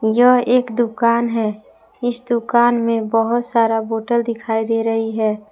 यह एक दुकान है इस दुकान में बहुत सारा बोतल दिखाई दे रही है।